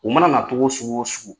U mana na togo sugu o sugu